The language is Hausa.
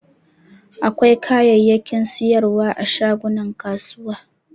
Akwai kayayyakin sayarwa a shagunan kasuwa.